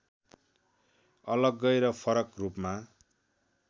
अलग्गै र फरक रूपमा